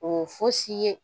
O fosi ye